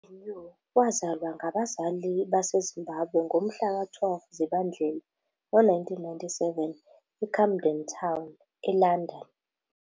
UBenyu wazalwa ngabazali baseZimbabwe ngomhlaka 12 Zibandlela 1997 eCamden Town, eLondon.